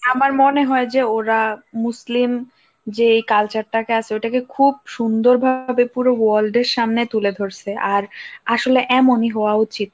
আমার মনে হয় যে ওরা মুসলিম যে culture টাকে আছে ওটাকে খুব সুন্দরভাবে পুরো world এর সামনে তুলে ধরসে, আর আসলে এমনই হওয়া উচিত।